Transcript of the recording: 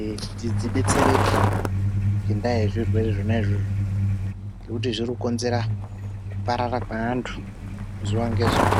ee kuti dzidetsereke ngendaa yezvirwere zvona izvozvo, ngekuti zviri kukonzera kuparara kweantu zuwa ngezuwa.